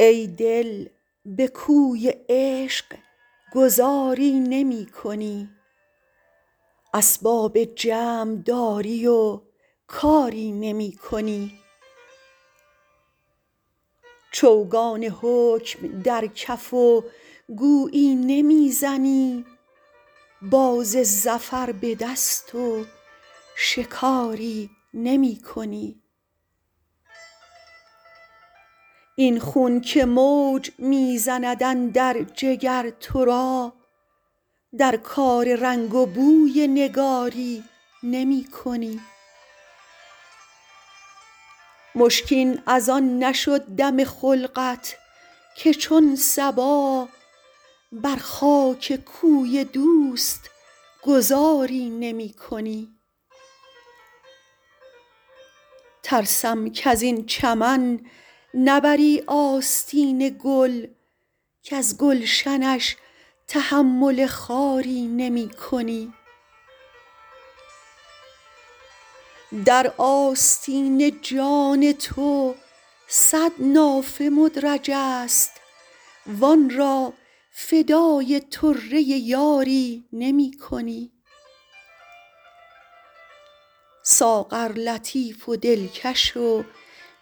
ای دل به کوی عشق گذاری نمی کنی اسباب جمع داری و کاری نمی کنی چوگان حکم در کف و گویی نمی زنی باز ظفر به دست و شکاری نمی کنی این خون که موج می زند اندر جگر تو را در کار رنگ و بوی نگاری نمی کنی مشکین از آن نشد دم خلقت که چون صبا بر خاک کوی دوست گذاری نمی کنی ترسم کز این چمن نبری آستین گل کز گلشنش تحمل خاری نمی کنی در آستین جان تو صد نافه مدرج است وآن را فدای طره یاری نمی کنی ساغر لطیف و دلکش و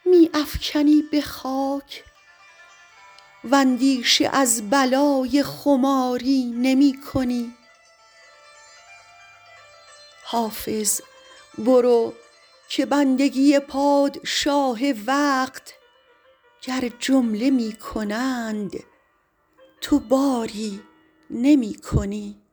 می افکنی به خاک واندیشه از بلای خماری نمی کنی حافظ برو که بندگی پادشاه وقت گر جمله می کنند تو باری نمی کنی